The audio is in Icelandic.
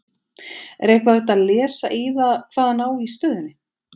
Er eitthvað hægt að lesa í það hvað hann á í stöðunni?